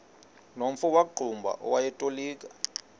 nomfo wakuqumbu owayetolika